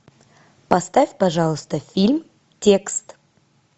поставь пожалуйста фильм текст